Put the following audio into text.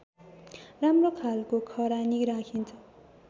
राम्रो खालको खरानी राखिन्छ